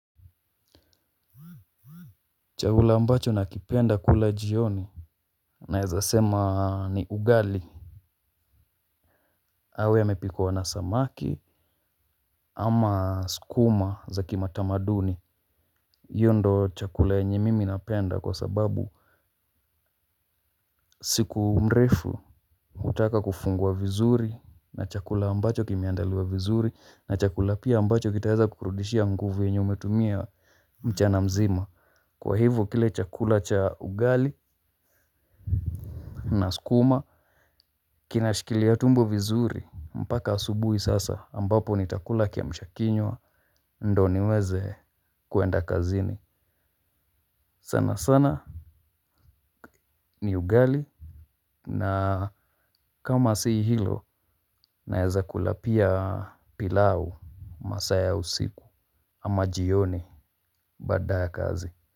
Chakula ambacho nakipenda kula jioni naeza sema ni ugali. Au yamepikwa na samaki ama skuma za kimatamaduni. Iyo ndo chakula yenye mimi napenda kwa sababu siku mrefu hutaka kufungua vizuri na chakula ambacho kimeandaliwa vizuri na chakula pia ambacho kitaeza kukurudishia nguvu yenye umetumia mchana mzima. Kwa hivo kile chakula cha ugali na skuma kinashkilia tumbo vizuri mpaka asubui sasa ambapo nitakula kiamshakinywa. Ndo niweze kuenda kazini sana sana ni ugali. Na kama si hilo naeza kula pia pilau masaa ya usiku ama jioni baada ya kazi.